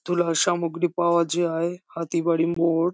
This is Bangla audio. তুলা সামগ্ৰী পাওয়া যায় হাতি বাড়ি মোর।